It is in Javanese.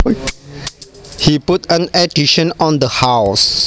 He put an addition on the house